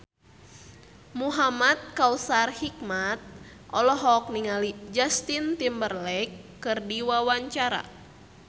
Muhamad Kautsar Hikmat olohok ningali Justin Timberlake keur diwawancara